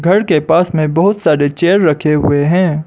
घर के पास में बहुत सारे चेयर रखे हुए हैं।